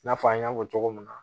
I n'a fɔ an y'a fɔ cogo min na